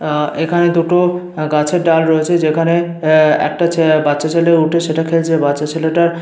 আহ এখানে দুটো গাছের ডাল রয়েছে। যেখানে আহ একটা ছেলে বাচ্চা ছেলে উঠে সেটা খেলছে বাচ্চা ছেলেটার--